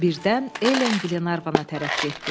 Birdən Elen Glenarvana tərəf getdi.